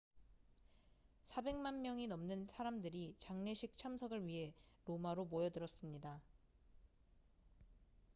400만 명이 넘는 사람들이 장례식 참석을 위해 로마로 모여들었습니다